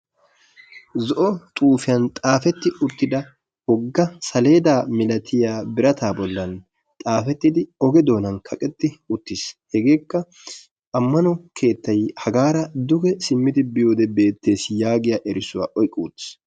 Zo"o xuufiyan xaafeti uttida wogga saledda milattiya birata bollan xaafettidi ogee doonaani kaqetti uttis. Hegeekka ammanuwo keettaay hagaara duge simmidi biyode beettees giya eesuwa oyqqi uttiis.